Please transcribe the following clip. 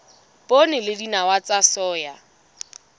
poone le dinawa tsa soya